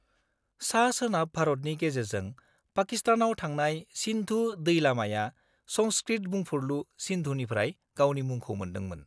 -सा-सोनाब भारतनि गेजेरजों पाकिस्तानाव थांनाय सिन्धु दैलामाया संस्कृत बुंफुरलु सिन्धुनिफ्राय गावनि मुंखौ मोनदोंमोन।